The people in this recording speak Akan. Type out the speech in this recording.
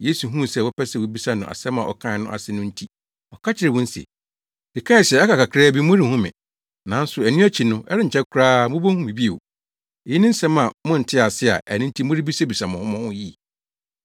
Yesu huu sɛ wɔpɛ sɛ wobisa no asɛm a ɔkae no ase no nti ɔka kyerɛɛ wɔn se, “Mekae se, ‘aka kakraa bi morenhu me, nanso ɛno akyi no, ɛrenkyɛ koraa mubehu me bio.’ Eyi ne asɛm a monte ase a enti morebisabisa mo ho mo ho yi?